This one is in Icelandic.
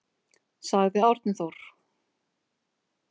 Sagði Árni Þór.